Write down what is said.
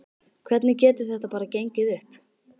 Hvernig getur þetta bara gengið upp?